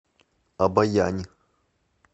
обоянь